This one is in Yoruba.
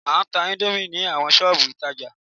A ń tá índómì ní awọn ṣọ́ọ̀bù ìtajà